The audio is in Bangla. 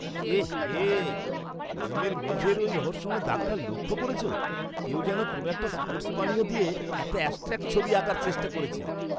এ হে! জিমের মেঝের ওই রহস্যময় দাগটা লক্ষ করেছো? কেউ যেন কোনও স্পোর্ট্স পানীয় দিয়ে একটা অ্যাবস্ট্র্যাক্ট ছবি আঁকার চেষ্টা করেছে।